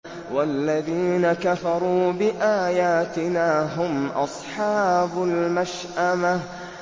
وَالَّذِينَ كَفَرُوا بِآيَاتِنَا هُمْ أَصْحَابُ الْمَشْأَمَةِ